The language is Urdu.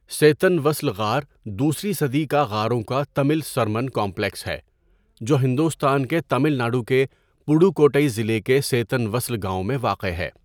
سیتن وسل غار دوسری صدی کا غاروں کا تمل سرمن کمپلیکس ہے جو ہندوستان کے تمل ناڈو کے پڈوکوٹئی ضلع کے سیتن وسل گاؤں میں واقع ہے۔